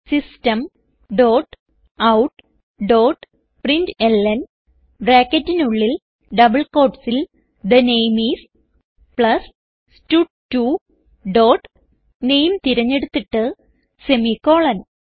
system dot out dot println ബ്രാക്കറ്റിനുള്ളിൽ double quotesൽ the name is plus സ്റ്റഡ്2 dot name തിരഞ്ഞെടുത്തിട്ട് സെമിക്കോളൻ